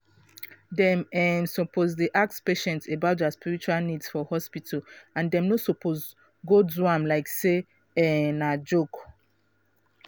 dem um suppose dey ask patient about dia spiritual needs for hospital and dem no suppose go do am like say um na joke.